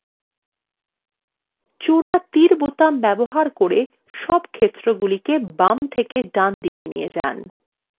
জোড়া তীর বোতাম ব্যবহার করে double ক্ষেত্রগুলিকে বাম থেকে ডান ডানদিকে নিয়ে যান